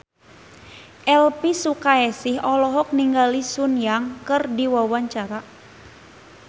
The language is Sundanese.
Elvi Sukaesih olohok ningali Sun Yang keur diwawancara